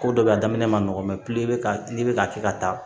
Ko dɔ bɛ yen a daminɛ man nɔgɔ n'i bɛ ka kɛ ka taa